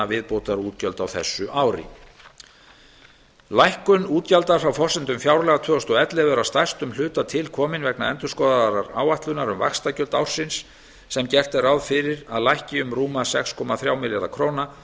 viðbótarútgjöld á þessu ári lækkun útgjalda frá forsendum fjárlaga tvö þúsund og ellefu eru að stærstum hluta til komin vegna endurskoðaðrar áætlunar um vaxtagjöld ársins sem gert er ráð fyrir að lækki um rúma sex komma þrjá milljarða króna